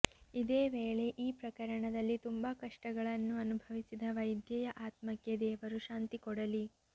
ಇದೇ ವೇಳೆ ಈ ಪ್ರಕರಣದಲ್ಲಿ ತುಂಬಾ ಕಷ್ಟಗಳನ್ನು ಅನುಭವಿಸಿದ ವೈದ್ಯೆಯ ಆತ್ಮಕ್ಕೆ ದೇವರು ಶಾಂತಿ ಕೊಡಲಿ